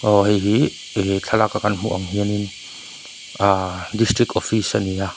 hei hi he thlalak a kan hmuh ang hianin ahh district office ani a--